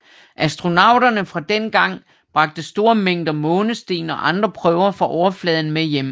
Astronauterne fra dengang bragte store mængder månesten og andre prøver fra overfladen med hjem